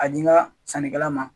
A di n ka sannikɛla ma